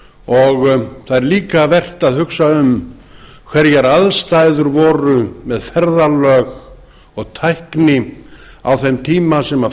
og það er líka vert að hugsa um hverjar aðstæður voru með ferðalög og tækni á þeim tíma sem